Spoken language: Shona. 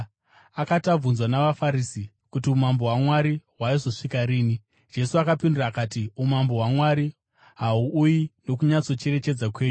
Akati abvunzwa navaFarisi kuti umambo hwaMwari hwaizosvika riini, Jesu akapindura akati, “Umambo hwaMwari hahuuyi nokunyatsocherechedza kwenyu,